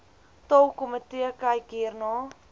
taalkomitee kyk hierna